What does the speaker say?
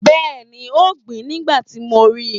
Yes, she was planting when I saw her